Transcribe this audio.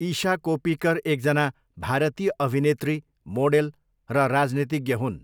इशा कोप्पिकर एकजना भारतीय अभिनेत्री, मोडेल र राजनीतिज्ञ हुन्।